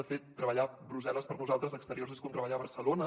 de fet treballar a brussel·les per nosaltres exteriors és com treballar a barcelona